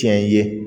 Tiɲɛ ye